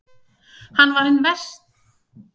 Hann var hinn fyrsta vetur á Hámundarstöðum.